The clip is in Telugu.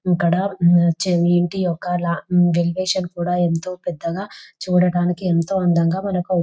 ఇక్కడ వచ్చేది ఇంటి యొక్క ఎలివేషన్ కూడ ఎంతో పెద్దగా చూడడానికి ఎంతో అందంగా మనకూ --